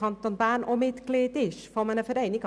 Ja, es handelt sich um einen Verein.